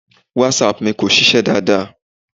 WhatsApp mi kò ṣiṣẹ́ dáadáa.